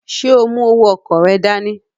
Ṣe o mu owó ọkọ rẹ dání?